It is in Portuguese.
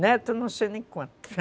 Neto, não sei nem quanto